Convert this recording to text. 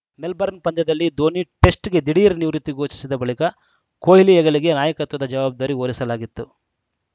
Melbourne ಪಂದ್ಯದಲ್ಲಿ ಧೋನಿ ಟೆಸ್ಟ್‌ಗೆ ದಿಢೀರ್‌ ನಿವೃತ್ತಿ ಘೋಷಿಸಿದ ಬಳಿಕ ಕೊಹ್ಲಿ ಹೆಗಲಿಗೆ ನಾಯಕತ್ವದ ಜವಾಬ್ದಾರಿ ಹೊರಿಸಲಾಗಿತ್ತು